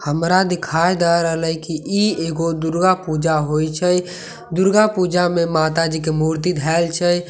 हमरा दिखाई दय रहलए कि ई एगो दुर्गा पूजा होई छै दुर्गा पूजा में माताजी के मूर्ति धइल छय।